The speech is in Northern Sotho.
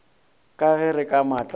ka re ka matla a